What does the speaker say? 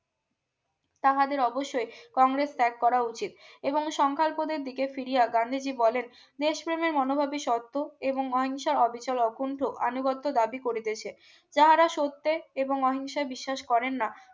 তাহাদের অবশ্যই কংগ্রেস ত্যাগ করা উচিত এবং সংখ্যালপোদের দিকে ফিরিয়ে গান্ধীজি বলেন দেশপ্রেমে মনো ভাবি শর্ত এবং অহিংসার অবিচল অকুণ্ঠ আনীবর্ত দাবী করিতেছে যাহারা সত্যে এবং অহিংসায় বিশ্বাস করেন না